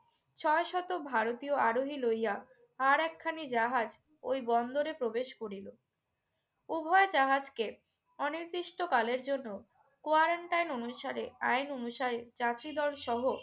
ছয়শত ভারতীয় আরোহী লইয়া আরেকখানি জাহাজ ওই বন্দরে প্রবেশ করিল। উভয় জাহাজকে অনির্দিষ্টকালের জন্য quarantine অনুসারে আইন অনুসারে যাত্রীদলসহ